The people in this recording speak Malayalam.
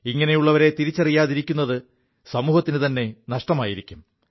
ഇങ്ങനെയുള്ളവരെ തിരിച്ചറിയാതിരിക്കുത് സമൂഹത്തിനുത െനഷ്ടമായിരിക്കും